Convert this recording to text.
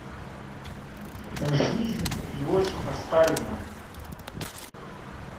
жизнь иосифа сталина